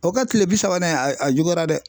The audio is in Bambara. O ka kile bi sabanan in a a juguyara dɛ.